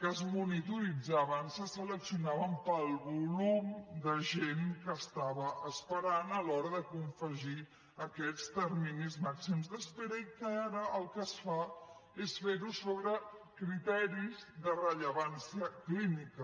que es monitoritzaven se seleccionaven pel volum de gent que estava esperant a l’hora de confegir aquests terminis màxims d’espera i que ara el que es fa és fer ho sobre criteris de rellevància clínica